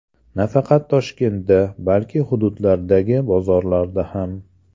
Nafaqat Toshkentda, balki hududlardagi bozorlarda ham.